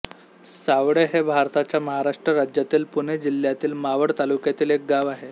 सावळे हे भारताच्या महाराष्ट्र राज्यातील पुणे जिल्ह्यातील मावळ तालुक्यातील एक गाव आहे